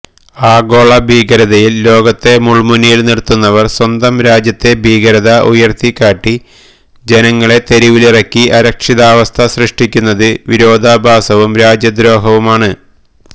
ആഗോളഭീകരതയില് ലോകത്തെ മുള്മുനയില് നിര്ത്തുന്നവര് സ്വന്തം രാജ്യത്തെ ഭീകരത ഉയര്ത്തിക്കാട്ടി ജനങ്ങളെ തെരുവിലിറക്കി അരക്ഷിതാവസ്ഥ സൃഷ്ടിക്കുന്നത് വിരോധാഭാസവും രാജ്യദ്രോഹവുമാണ്